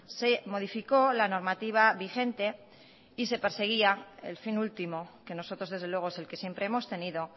se modificó la normativa vigente y se perseguía el fin último que nosotros desde luego es el que siempre hemos tenido